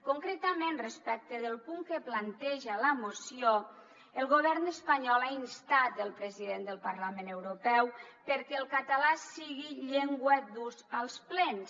concretament respecte del punt que planteja la moció el govern espanyol ha instat el president del parlament europeu perquè el català sigui llengua d’ús als plens